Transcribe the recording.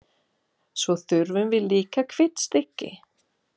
Svo þurfum við líka hvítt stykki.